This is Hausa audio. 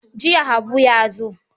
Jiya Habu ya zo.